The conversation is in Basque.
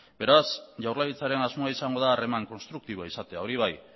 beraz jaurlaritzaren asmoa izango da harreman konstruktiboa izatea hori bai